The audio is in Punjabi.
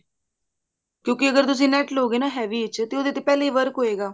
ਕਿਉਂਕਿ ਅਗਰ ਤੁਸੀਂ ਨੈਟ ਲਵੋਂਗੇ ਨਾ heavy ਵਿੱਚ ਤੇ ਉਹਦੇ ਤੇ ਪਹਿਲਾਂ ਹੀ work ਹੋਏਗਾ